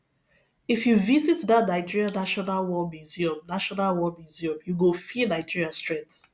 if you visit that nigerian national war museum national war museum you go feel nigeria strength